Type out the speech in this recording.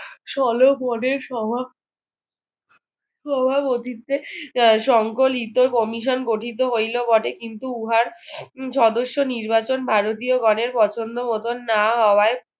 ষোলো সংকলিত commission গঠিত হইলো বটে কিন্তু উহার সদ্যস্য নির্বাচন ভারতীয়গণের পছন্দমতো না হওয়ায়